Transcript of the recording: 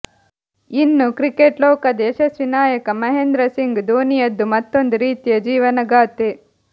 ಇನ್ನು ಕ್ರಿಕೆಟ್ ಲೋಕದ ಯಶಸ್ವಿ ನಾಯಕ ಮಹೇಂದ್ರಸಿಂಗ್ ದೋನಿಯದ್ದು ಮತ್ತೊಂದು ರೀತಿಯ ಜೀವನಗಾಥೆ